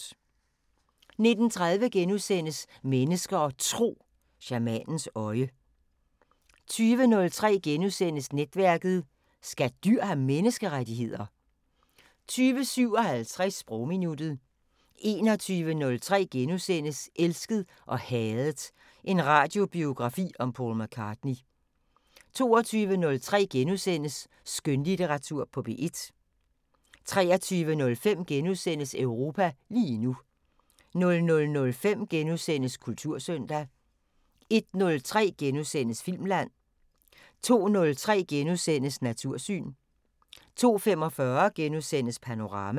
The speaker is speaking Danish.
19:30: Mennesker og Tro: Shamanens øje * 20:03: Netværket: Skal dyr have menneskerettigheder? * 20:57: Sprogminuttet 21:03: Elsket og hadet – en radiobiografi om Paul McCartney (2:2)* 22:03: Skønlitteratur på P1 * 23:05: Europa lige nu * 00:05: Kultursøndag * 01:03: Filmland * 02:03: Natursyn * 02:45: Panorama *